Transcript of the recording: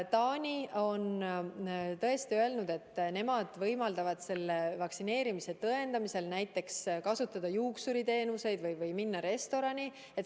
Taani on tõesti öelnud, et nemad võimaldavad vaktsineerimise tõendamisel kasutada näiteks juuksuriteenuseid või minna restorani.